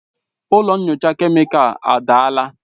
Ụlọ nyocha kemịkalụ adaala.